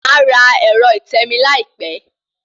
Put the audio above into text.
Màá ra ẹ̀rọ ìtẹmií láìpẹ́